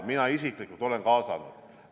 Mina isiklikult olen kaasanud.